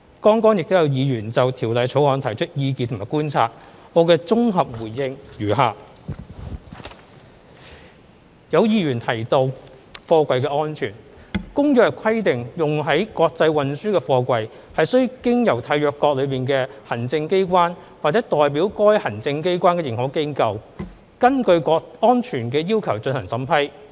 剛才亦有議員就《條例草案》提出意見和觀察，我的綜合回應如下：有議員提及貨櫃安全，《公約》規定用於國際運輸的貨櫃須經由締約國的行政機關或代表該行政機關的認可機構根據安全要求進行審批。